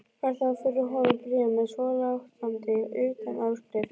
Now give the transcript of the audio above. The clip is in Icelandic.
Varð þá fyrir honum bréf með svolátandi utanáskrift